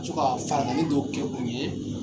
Ka to farankanni do kɛ u ye